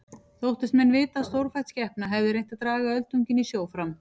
Þóttust menn vita að stórfætt skepna hefði reynt að draga öldunginn í sjó fram.